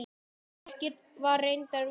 Ekkert var reyndar úr því.